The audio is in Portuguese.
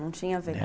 Não tinha verg